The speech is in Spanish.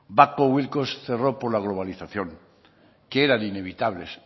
babcock wilcox cerró por la globalización que eran inevitables